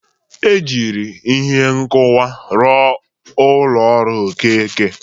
E jiri ihe nkụwa rụọ ụlọ ọrụ Okeke.